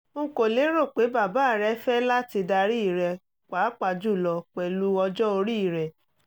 n kò lérò pé bàbá rẹ́ fẹ́ láti darí rẹ pàápàá jùlọ pẹ̀lú ọjọ́ orí rẹ